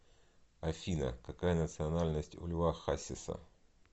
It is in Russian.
афина какая национальность у льва хасиса